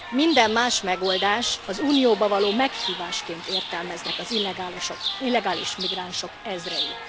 Minden más megoldást az Unióba való meghívásként értelmeznek az illegális migránsok ezrei.